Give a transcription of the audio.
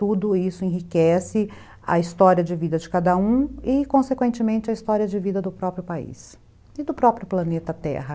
Tudo isso enriquece a história de vida de cada um e, consequentemente, a história de vida do próprio país e do próprio planeta Terra.